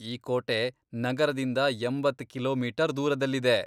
ಈ ಕೋಟೆ ನಗರದಿಂದ ಎಂಬತ್ತ್ ಕಿಲೋಮೀಟರ್ ದೂರದಲ್ಲಿದೆ.